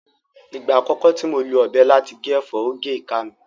Ìgbà àkọ́kọ́ tí mo lo ọ̀bẹ láti gé ẹ̀fọ́, ó gé ìka mi